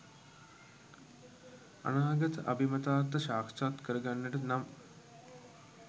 අනාගත අභිමතාර්ථ සාක්ෂාත් කර ගන්නට නම්